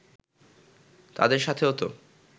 তাদের সাথেও তো